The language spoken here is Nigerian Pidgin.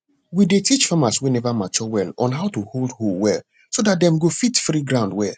we dey teach farmers wey never mature well on how to hold hoe well so dat dem go fit free ground well